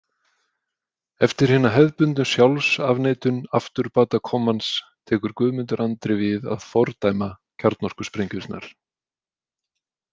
Eftir hina hefðbundnu sjálfsafneitun afturbatakommans tekur Guðmundur Andri við að fordæma kjarnorkusprengjurnar.